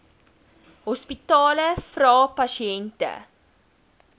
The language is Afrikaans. hospitale vra pasiënte